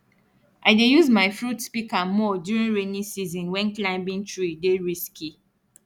i dey use my fruit pika more during rainy season wen climbing tree dey risky